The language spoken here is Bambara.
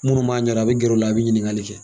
Munnu b'a ɲɛdɔn a bɛ gɛr'u la, a be ɲiniŋali kɛ.